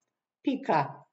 Pika.